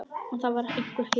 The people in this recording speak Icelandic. Og það var einhver hiti.